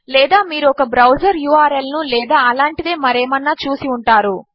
లేదా మీరు ఒక బ్రౌజర్ ఉర్ల్ ను లేదా అలాంటిదే మరేమన్నా చూసి ఉంటారు